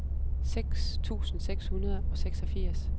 seks tusind seks hundrede og seksogfirs